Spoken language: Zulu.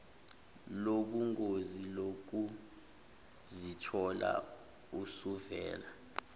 lobungozi lokuzithola usuvela